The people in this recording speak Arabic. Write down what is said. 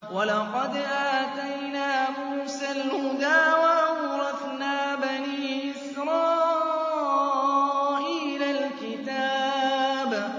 وَلَقَدْ آتَيْنَا مُوسَى الْهُدَىٰ وَأَوْرَثْنَا بَنِي إِسْرَائِيلَ الْكِتَابَ